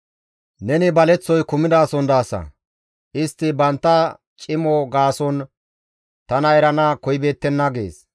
Neni baleththoy kumidason daasa; istti bantta cimo gaason tana erana koyibeettenna» gees.